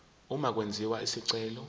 uma kwenziwa isicelo